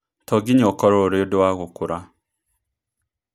To nginya ũkorũo ũrĩ ũndũ wa gũkũra.